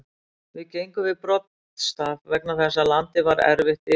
Við gengum við broddstaf vegna þess að landið var erfitt yfirferðar.